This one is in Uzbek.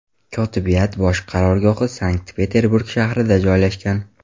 Kotibiyat bosh qarorgohi Sankt-Peterburg shahrida joylashgan.